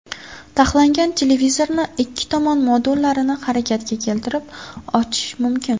Taxlangan televizorni ikki tomon modullarini harakatga keltirib ochish mumkin.